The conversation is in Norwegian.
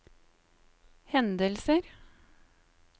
hendelser